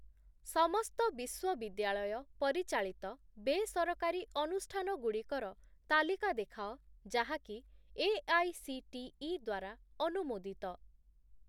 ସମସ୍ତ ବିଶ୍ୱବିଦ୍ୟାଳୟ ପରିଚାଳିତ ବେସରକାରୀ ଅନୁଷ୍ଠାନଗୁଡ଼ିକର ତାଲିକା ଦେଖାଅ ଯାହାକି ଏଆଇସିଟିଇ ଦ୍ଵାରା ଅନୁମୋଦିତ ।